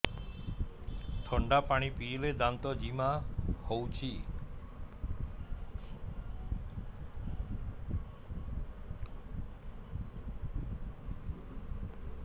ଥଣ୍ଡା ପାଣି ପିଇଲେ ଦାନ୍ତ ଜିମା ହଉଚି